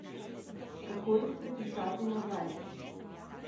Kako jih priklicati nazaj?